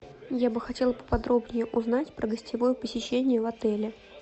я бы хотела поподробнее узнать про гостевое посещение в отеле